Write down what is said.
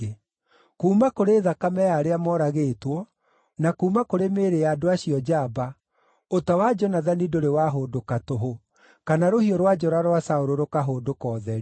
Kuuma kũrĩ thakame ya arĩa moragĩtwo, na kuuma kũrĩ mĩĩrĩ ya andũ acio njamba, ũta wa Jonathani ndũrĩ wahũndũka tũhũ, kana rũhiũ rwa njora rwa Saũlũ rũkahũndũka ũtheri.